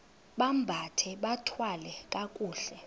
bambathe bathwale kakuhle